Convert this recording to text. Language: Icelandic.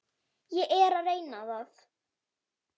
Ég er að reyna það.